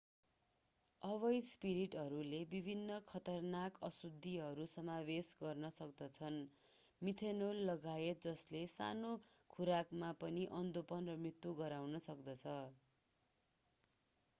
अवैध स्पिरिटहरूले विभिन्न खतरनाक अशुद्धिहरू समावेश गर्न सक्दछन् मिथेनोल लगायत जसले सानो खुराकमा पनि अन्धोपन वा मृत्यु गराउन सक्दछन्